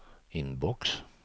inbox